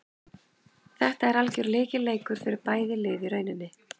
Þetta er algjör lykilleikur fyrir bæði lið í rauninni.